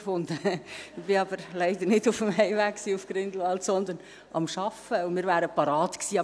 Ich war aber leider nicht auf dem Heimweg nach Grindelwald, sondern bei der Arbeit, und wir wären bereit gewesen.